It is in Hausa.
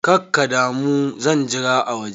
Kakkadamu, zan jira a waje.